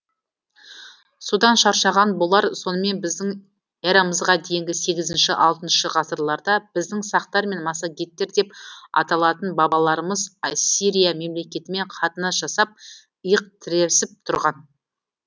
содан шаршаған болар сонымен біздің эрамызға дейінгі сегізінші алтыншы ғасырларда біздің сақтар мен массагеттер деп аталатын бабаларымыз ассирия мемлекетімен қатынас жасап иық тіресіп тұрған